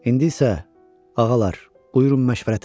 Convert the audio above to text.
İndi isə, ağalar, buyurun məşvərətə.